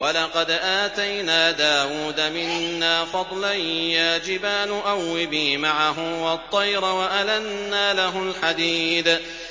۞ وَلَقَدْ آتَيْنَا دَاوُودَ مِنَّا فَضْلًا ۖ يَا جِبَالُ أَوِّبِي مَعَهُ وَالطَّيْرَ ۖ وَأَلَنَّا لَهُ الْحَدِيدَ